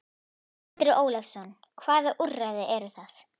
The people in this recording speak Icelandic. Andri Ólafsson: Hvaða úrræði eru það?